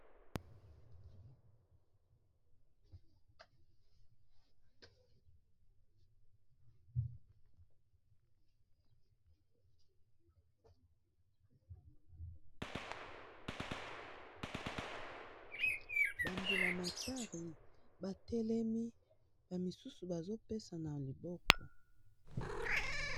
bambula matari batelemi bamisusu bazopesa na liboko